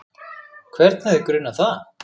Hvern hefði grunað það?